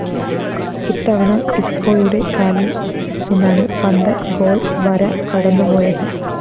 ഇത്തവണ ഇസ്‌ക്കോയുടെ കാലില്‍ നിന്നാണ് പന്ത് ഗോൾ വര കടന്നുപോയത്